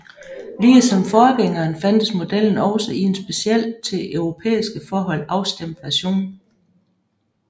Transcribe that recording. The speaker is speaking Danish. Ligesom forgængeren fandtes modellen også i en specielt til europæiske forhold afstemt version